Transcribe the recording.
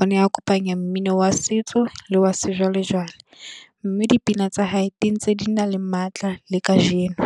O ne a kopanya mmino wa setso le wa sejwalejwale, mme dipina tsa hae di ntse di na le matla le kajeno.